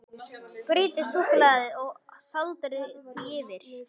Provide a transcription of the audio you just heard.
Brytjið suðusúkkulaðið og sáldrið því yfir.